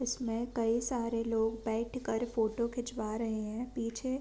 इसमें कई सारे लोग बैठ कर फोटो खीचवा रहे हैं। पीछे --